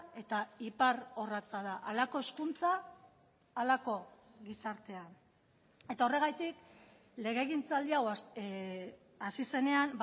eta iparrorratza da halako hezkuntza halako gizartea eta horregatik legegintzaldi hau hasi zenean